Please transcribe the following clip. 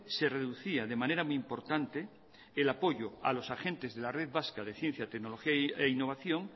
se reducía de manera muy importante el apoyo a los agentes de la red vasca de ciencia tecnología e innovación